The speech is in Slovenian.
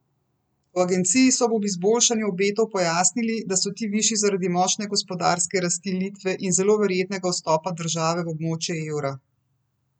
V agenciji so ob izboljšanju obetov pojasnili, da so ti višji zaradi močne gospodarske rasti Litve in zelo verjetnega vstopa države v območje evra.